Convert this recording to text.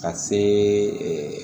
Ka see